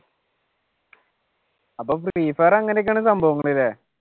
അപ്പൊ free fire അങ്ങനെയാണല്ലേ സംഭവങ്ങൾ അല്ലെ?